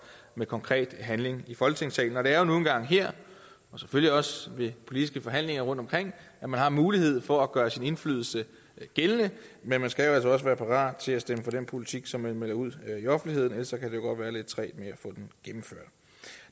med konkret handling i folketingssalen det er nu engang her og selvfølgelig også ved politiske forhandlinger rundtomkring at man har mulighed for at gøre sin indflydelse gældende men man skal altså også være parat til at stemme for den politik som man melder ud i offentligheden ellers godt gå lidt trægt med